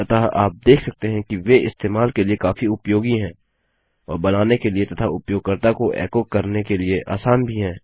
अतः आप देख सकते हैं कि वे इस्तेमाल के लिए काफी उपयोगी हैं और बनाने के लिए तथा उपयोगकर्ता को एको करने के लिए आसान भी हैं